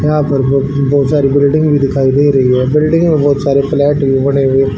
यहां पर दो दो चार बिल्डिंग भी दिखाई दे रही हैं बिल्डिंग में बहुत सारे फ्लैट भी बने हुए--